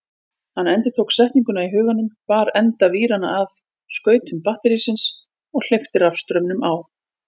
Hann endurtók setninguna í huganum, bar enda víranna að skautum batterísins og hleypti rafstraumnum á.